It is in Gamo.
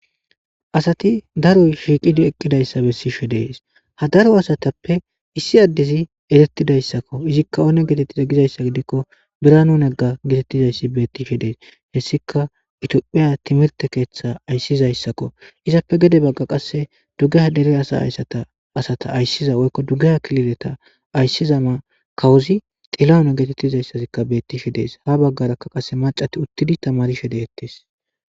Asati daroy shiiqidi eqqidayssa bessishe dees ha daro asatappe issi addezi erettidayssakko izikka oone geetettida gizayssa gidikko biranu negga getettizayssi bettishe dees hessika itiophiya timirte keeththa ayssizayssakko izappe gede bagga qasse duggeh dere asa ayssata asata ayssiza woykko duggeha kilideta ayssiza ma kawuzi xilano geetettizayssazikka bettishe dees ha baggarakka qase macati uttidi tamarishe deettes